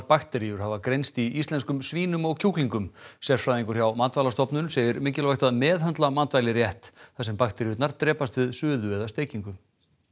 bakteríur hafa greinst í íslenskum svínum og kjúklingum sérfræðingur hjá Matvælastofnun segir mikilvægt að meðhöndla matvæli rétt þar sem bakteríurnar drepast við suðu eða steikingu